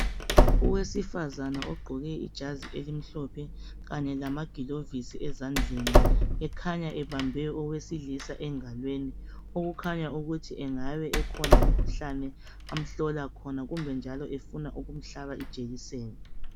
Owesifazane ogqoke ijazi elimhlophe kanye lamagilovisi ezandleni, ekhanya ebambe owesilisa engalweni okukhanya ukuthi engabe ekhona umkhuhlane amhlola khona kumbe njalo efuna ukumhlaba ijekiseni.